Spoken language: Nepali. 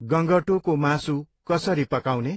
गँगटोको मासु कसरी पकाउने?